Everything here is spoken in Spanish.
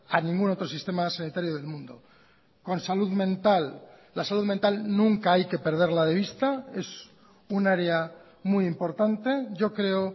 a ningún otro sistema sanitario del mundo con salud mental la salud mental nunca hay que perderla de vista es un área muy importante yo creo